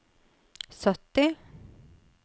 sytti